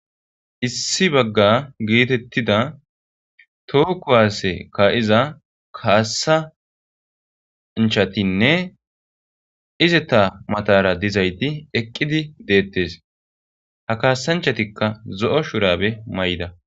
issi bagga geetettida too kuwaasse ka7iza kaassanchatinne izeta matara dizayti eqqidi deettes ha kaasanchatikka zo7o shurabe may7ida